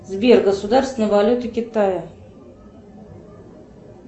сбер государственная валюта китая